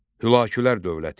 Hülakülər dövləti.